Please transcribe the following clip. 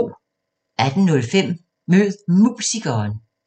18:05: Mød Musikeren